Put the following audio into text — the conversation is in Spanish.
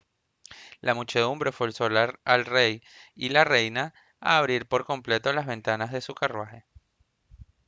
la muchedumbre forzó al rey y la reina a abrir por completo las ventanas de su carruaje